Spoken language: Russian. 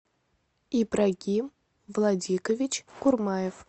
ибрагим владикович курмаев